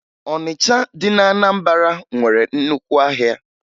Ọnịcha dị na Anambara nwere nnukwu ahịa